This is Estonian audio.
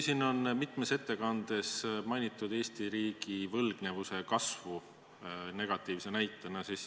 Siin on mitmes ettekandes mainitud Eesti riigi võlgnevuse kasvu negatiivse näitena.